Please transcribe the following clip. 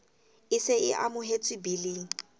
e se e amohetswe biling